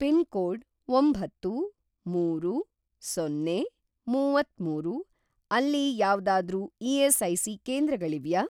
Pin code ಒಂಬತ್ತು, ಮೂರು, ಸೊನ್ನೆ, ಮುವತ್ತಮೂರು ಅಲ್ಲಿ ಯಾವ್ದಾದ್ರೂ ಇ.ಎಸ್.ಐ.ಸಿ. ಕೇಂದ್ರಗಳಿವ್ಯಾ?